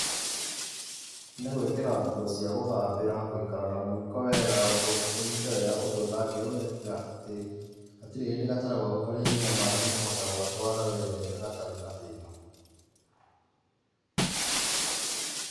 Nĩ gwĩkĩra nguo cia gũthambĩra, gũikara na mũiko wega, ũnyite wega ũndũ ũtangĩũrekia atĩ, hatirĩ hĩndĩ gatarũ gaku karĩnyua maaĩ nĩ ũkũhota gũgatwara wega gatarĩ na thĩna.